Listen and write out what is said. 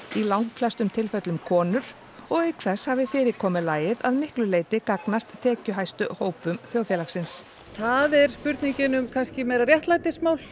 í langflestum tilfellum konur og auk þess hafi fyrirkomulagið að miklu leyti gagnast tekjuhæstu hópum þjóðfélagsins það er spurningin um kannski meira réttlætismál